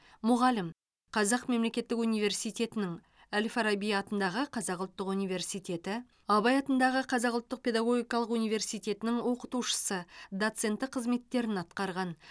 мұғалім қазақ мемлекеттік университетінің әл фараби атындағы қазақ ұлттық университеті абай атындағы қазақ ұлттық педагогикалық университетінің оқытушысы доценті қызметтерін атқарған